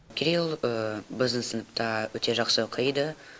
кирилл біздің сыныпта өте жақсы оқиды